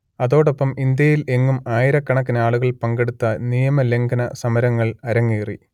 അതോടൊപ്പം ഇന്ത്യയിൽ എങ്ങും ആയിരക്കണക്കിനാളുകൾ പങ്കെടുത്ത നിയമലംഘന സമരങ്ങൾ അരങ്ങേറി